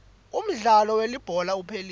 umdlalo welibhola uphelile